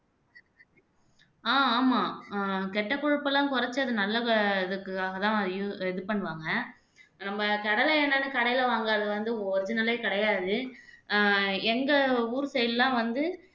ஆஹ் ஆமா ஆஹ் கெட்ட கொழுப்பெல்லாம் குறைச்சு அது நல்ல இதுக்காகதான் இது இது பண்ணுவாங்க நம்ம கடலை எண்ணெய்ன்னு கடையில வாங்கறது வந்து original ஏ கிடையாது ஆஹ் எங்க ஊர் side எல்லாம் வந்து